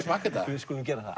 smakka þetta við skulum gera það